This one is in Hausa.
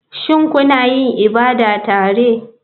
Shin kuna yin ibada tare?